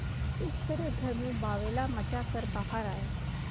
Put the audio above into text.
इस तरह घर में बावैला मचा कर बाहर आये